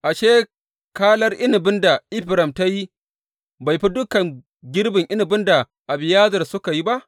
Ashe, kalar inabin da Efraim ta yi bai fi dukan girbin inabin da Abiyezer suka yi ba?